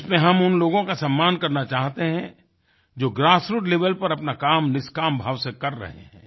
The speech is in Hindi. इसमें हम उन लोगों का सम्मान करना चाहते हैं जो ग्रासरूट लेवेल पर अपना कामनिष्काम भाव से कर रहे हैं